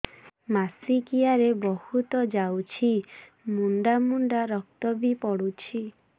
ମାସିକିଆ ରେ ବହୁତ ଯାଉଛି ମୁଣ୍ଡା ମୁଣ୍ଡା ରକ୍ତ ବି ପଡୁଛି